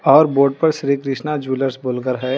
और बोर्ड पर श्री कृष्णा ज्वेलर्स बोल कर हैं।